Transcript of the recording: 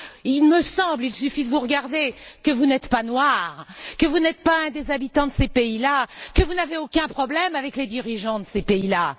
Il me semble il suffit de vous regarder que vous n'êtes pas noir, que vous n'êtes pas un des habitants de ces pays là, que vous n'avez aucun problème avec les dirigeants de ces pays là.